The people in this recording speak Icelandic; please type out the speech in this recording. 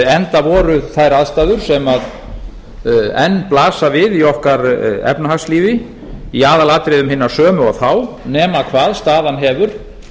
enda voru þær aðstæður sem enn blasa við í okkar efnahagslífi í aðalatriðum hinar sömu og þá nema hvað staðan hefur